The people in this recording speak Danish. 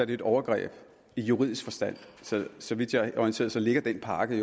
det et overgreb i juridisk forstand så vidt jeg er orienteret ligger den pakke